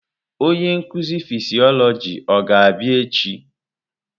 Onye nkuzi fịsiolojị ọ ga-abịa echi?